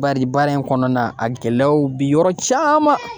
Bari baara in kɔnɔna a gɛlɛyaw bi yɔrɔ caman